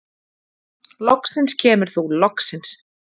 Loksins kemur þú, loksins!